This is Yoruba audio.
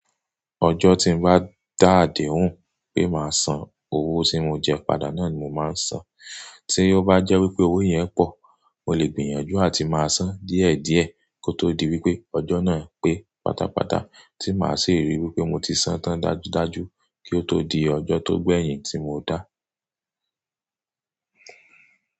Ọjọ́ tí n bá dá àdéhùn pé máa san owó tí mo jẹ padà náà ni mo máa san. Tí ó bá jẹ́ wípé owó yẹn pọ̀, mo lè gbìyànjú àti máa san díẹ̀díẹ̀ kó tó di wípé ọjọ́ náà pé pátápátá tí máa sì ríi wípé mo ti san tán dájúdájú kí ó tó di ọjọ́ tó gbẹ̀yìn tí mo dá.